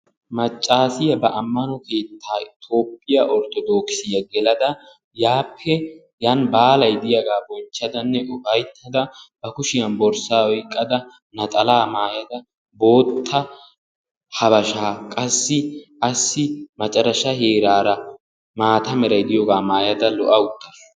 Maccaasiya ba ammano keettaa tophphiya ortodoogisiya gelada yaappe Yan baalay diyagaa bonchchadanne ufayittada ba kushiyan borssaa oyikkada naxalaa mayada, bootta habashaa qassi assi macarasha heeraara maata meray diyogaa mayada lo'a uttaasu.